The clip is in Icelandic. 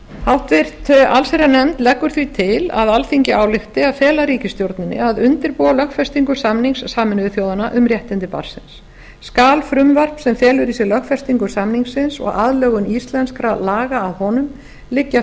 háttvirta allsherjarnefnd leggur því til að alþingi álykti að fela ríkisstjórninni að undirbúa lögfestingu samnings sameinuðu þjóðanna um réttindi barnsins skal frumvarp sem felur í sér lögfestingu samningsins og aðlögun íslenskra laga að honum liggja